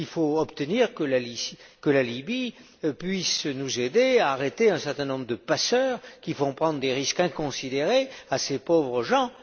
Il faut obtenir que la Libye puisse nous aider à arrêter un certain nombre de passeurs, qui font prendre des risques inconsidérés à ces pauvres gens.